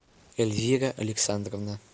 эльвира александровна